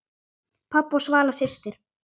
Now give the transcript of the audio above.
Pabbi og Svala systir.